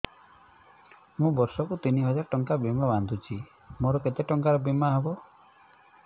ମୁ ବର୍ଷ କୁ ତିନି ହଜାର ଟଙ୍କା ବୀମା ବାନ୍ଧୁଛି ମୋର କେତେ ଟଙ୍କାର ବୀମା ହବ